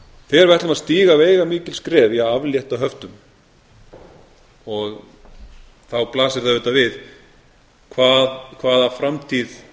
við ætlum að stíga veigamikil skref í að aflétta höftum þá blasir það auðvitað við hvaða framtíð